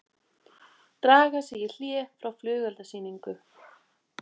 Draga sig í hlé frá flugeldasýningu